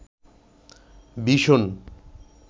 vision